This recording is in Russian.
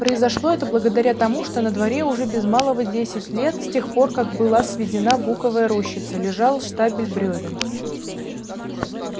произошло это благодаря тому что на дворе уже без малого десять лет с тех пор как была сведена буковая рощица лежал штабель брёвен